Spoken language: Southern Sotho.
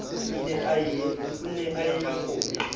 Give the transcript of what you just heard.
ne a ye a kgonye